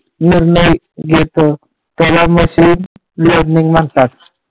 मरणही येतं त्याला machine learning म्हणतात.